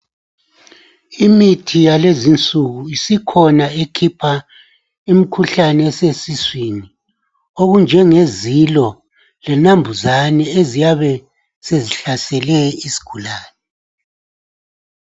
Imithi yakulezi insuku isikhona ekhopha ekhipa imikhuhlane esiswini okunjenge zilo lenambuzane eziyabe sezihlasele isigulane.